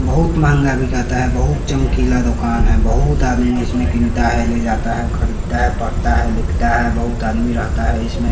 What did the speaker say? बहुत महंगा बिकाता है बहुत चमकीला दुकान है बहुत आदमी इसमें किन्ता है ले जाता है खरीदता है पड़ता है लिखता है बहुत आदमी रहता है इसमें--